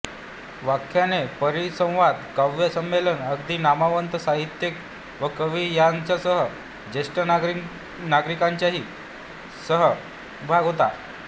व्याख्याने परिसंवाद काव्य संमेलन आदींत नामवंत साहित्यिक व कवी यांच्यासह ज्येष्ठ नागरिकांचाही सहभाग होता